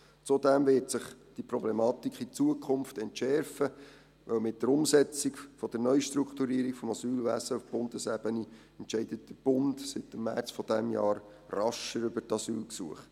Zudem wird sich diese Problematik in Zukunft entschärfen, weil mit der Umsetzung der Neustrukturierung des Asylwesens auf Bundesebene der Bund seit März dieses Jahres rascher über die Asylgesuche entscheidet.